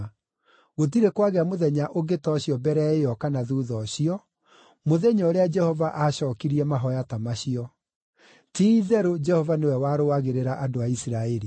Gũtirĩ kwagĩa mũthenya ũngĩ ta ũcio mbere ĩyo kana thuutha ũcio, mũthenya ũrĩa Jehova aacookirie mahooya ta macio. Ti-itherũ Jehova nĩwe warũagĩrĩra andũ a Isiraeli!